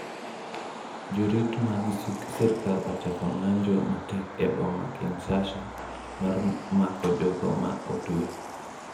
Jorit mag sirkal ochako ng'anjo matek e boma Kinshasa mar mako jogo ma otwe.